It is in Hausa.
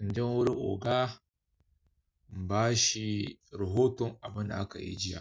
in je wurin oga in bashi rahoton abinda aka yi jiya.